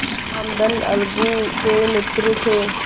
रामधन अलगू के मित्र थे